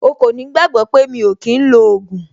O kò ní gbàgbọ́ pé mi ò kí ń lo ògùn.